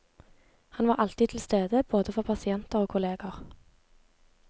Han var alltid til stede, både for pasienter og kolleger.